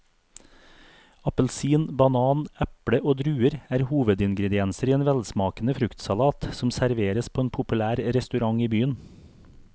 Appelsin, banan, eple og druer er hovedingredienser i en velsmakende fruktsalat som serveres på en populær restaurant i byen.